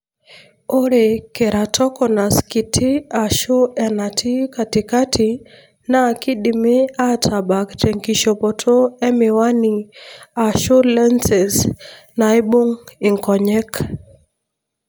ore keratoconus kiti ashu enatii katikati na kindimi atabaak tenkishopoto emiwani ashu lenses naibung inkonyek.